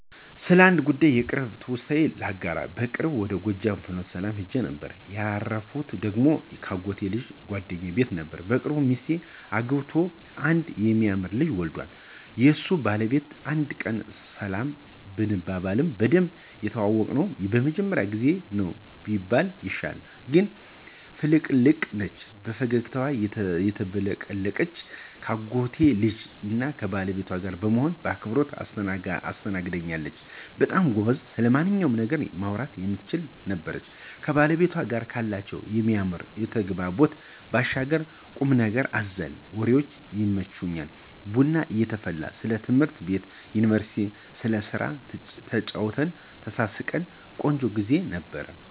ስለዚህ ጉዳይ የቅርብ ትውስታዬን ላጋራ። በቅርቡ ወደ ጎጃም ፍኖተሰላም ሂጄ ነበር። ያረፍኩ ደግሞ ከአጎቴ ልጅና ጓደኛዬ ቤት ነበር። በቅርብ ሚስት አግብቶ አንድ የሚያምር ልጅ ዎልዷል። የሱ ባለቤት አንድ ቀን ሰላም ብንባባልም በደንብ የተዋወቅነው የመጀመሪያው ጊዜ ነው ቢባል ይሻላል። ግን ፍልቅልቅ ነች። በፈገግታ ተቀበለችኝ ከአጎቴ ልጅና ከባለቤቷ ጋር በመሆን በአክብሮት አስተናገደኝች። በጣም ጎበዝና ስለማንኛውም ነገር ማውራት የምትችል ነበረች። ከባለቤቷ ጋር ካላቸው የሚያምር ተግባቦት ባሻገር ቁምነገር አዘል ወሬዎቿ ይመቻሉ። ቡና እየተፈላ ስለ ትምህርት ቤት፣ ዩኒቨርስቲና ስለስራ ተጨዋወትን፣ ተሳሳቅን። ቆንጆ ግዜ ነበር።